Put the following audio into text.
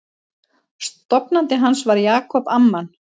Stofnandi hans var Jacob Amman.